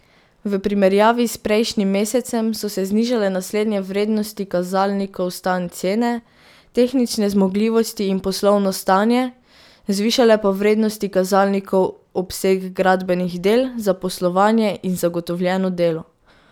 V primerjavi s prejšnjim mesecem so se znižale naslednje vrednosti kazalnikov stanj cene, tehnične zmogljivosti in poslovno stanje, zvišale pa vrednosti kazalnikov obseg gradbenih del, zaposlovanje in zagotovljeno delo.